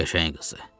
Qəşəng qızdır.